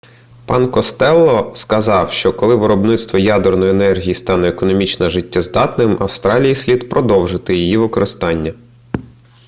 пан костелло сказав що коли виробництво ядерної енергії стане економічно життєздатним австралії слід продовжити її використання